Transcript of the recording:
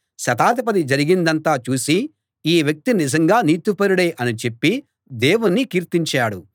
శతాధిపతి జరిగిందంతా చూసి ఈ వ్యక్తి నిజంగా నీతిపరుడే అని చెప్పి దేవుణ్ణి కీర్తించాడు